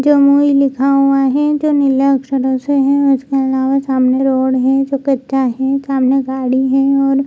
जमुई लिखा हुआ है जो नीला अक्षरों से है उसके अलावा सामने रोड है जो कच्चा है सामने गाड़ी है और --